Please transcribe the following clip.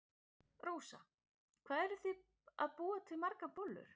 Rósa: Hvað eruð þið að búa til margar bollur?